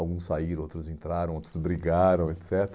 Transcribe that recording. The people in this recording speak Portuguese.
Alguns saíram, outros entraram, outros brigaram, et